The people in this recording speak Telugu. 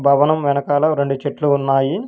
భవనం వెనకాల రెండు చెట్లు ఉన్నాయి.